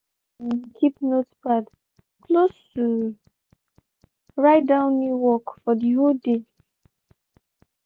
he um keep notepad close to write down new work for de whole dey.